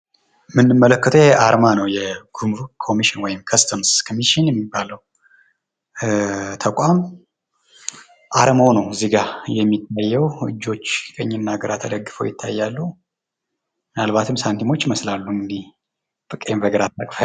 እምንመለከተው አርማ ነው ይሄ የጉሙሩክ ኮሚሽን ወይም ከስተምስ ኮሚሽን የሚባለው ተቋም አርማው ነው እዚጋ የሚታየው እጆች ቀኝና ግራ ተደግፈው ይታያሉ። ምናልባትም ሳንቲሞች ይመስላሉ እኒህ በቀኝ በግራ።